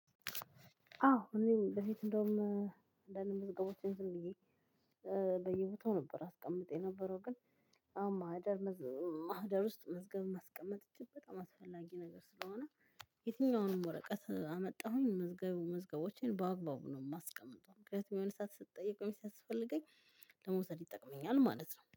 አዎ እኔም በፊት እንደውም አንዳንድ መዝገቦቼን ዝም ብዬ በየቦታው ነበር አስቀምጥ የነበረው። ግን አሁን ማህደር ማህደር ውስጥ መዝገብ ማስቀመጥ እጅግ በጣም አስፈላጊ ነገር ስለሆነ። የትኛውንም ወረቀት አመጣሁኝ። መዝገቦቼን በአግባቡ ነው የማስቀምጠው ምክንያቱም የሆነ ሰዓት ስትጠየቅ ወይም ሲያስፈልገኝ ለመውሰድ ይጠቅመኛል ማለት ነው